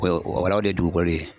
O la o de ye dugukolo ye